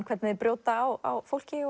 hvernig þeir brjóta á fólki